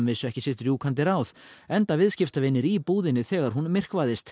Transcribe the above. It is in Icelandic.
vissu ekki sitt rjúkandi ráð enda viðskiptavinir í búðinni þegar hún